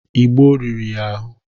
Igbo rìrì ya ahụ.